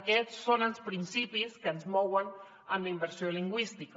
aquests són els principis que ens mouen en la immersió lingüística